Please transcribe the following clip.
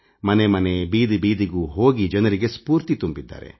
ಮನೆಮನೆ ಬೀದಿಬೀದಿಗೂ ಹೋಗಿ ಜನರಿಗೆ ಸ್ಫೂರ್ತಿ ತುಂಬಿದ್ದಾರೆ